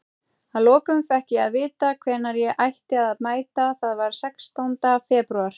Að lokum fékk ég að vita hvenær ég ætti að mæta, það var sextánda febrúar.